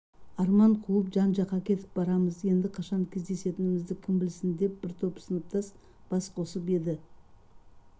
арман қуып жан-жаққа кетіп барамыз енді қашан кездесерімізді кім білсін деп бір топ сыныптас бас қосып еді